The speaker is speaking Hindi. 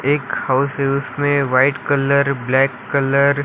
एक हाउस है उसमें वाइट कलर ब्लैक कलर --